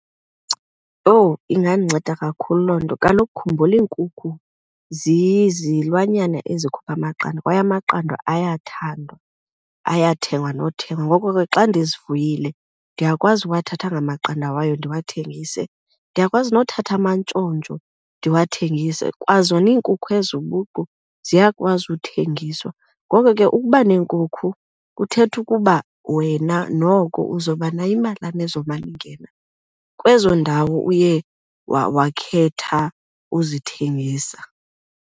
Owu, ingandinceda kakhulu loo nto. Kaloku khumbula iinkukhu zizilwanyana ezikhupha amaqanda kwaye amaqanda ayathandwa, ayathengwa nothengwa. Ngoko ke xa ndizifuyile ndiyakwazi uwathatha la maqanda wayo ndiwathengise. Ndiyakwazi nothatha amantshontsho ndiwathengise, kwazona iinkukhu ezo ubuqu ziyakwazi uthengiswa. Ngoko ke ukuba neenkukhu kuthetha ukuba wena noko uzoba nayo imalana ezomana ingena kwezo ndawo uye wakhetha uzithengisa.